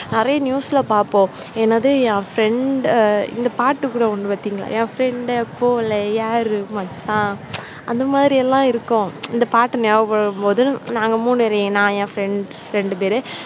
நிறைய news ல பார்ப்போம் எனது என் friend இந்த பாட்டு கூட ஒண்ணு பாத்தீங்கன்னா என் friend டு போல யாரும் மச்சான் அந்த மாதிரி எல்லாம் இருக்கும். இந்த பாட்டு ஞாபகப்படுத்தும் போது நாங்க மூணு பேரு நான் என் friends ரெண்டு பேரும்